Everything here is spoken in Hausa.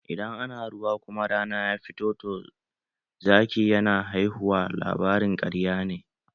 "Idan ana ruwa kuma rana ya fito toh Zaki yana haihuwa" labarin ƙarya ne.